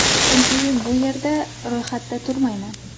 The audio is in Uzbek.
Chunki bu yerda ro‘yxatda turmayman.